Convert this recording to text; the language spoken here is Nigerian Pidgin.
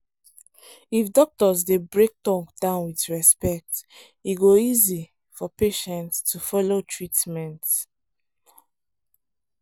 if doctors dey break talk down with respect e go easy for patient to follow treatment